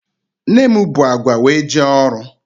Nne m bu agwa wee jee ọrụ.